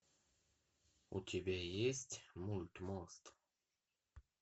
у тебя есть мульт мост